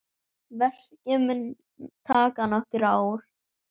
Verkið mun taka nokkur ár.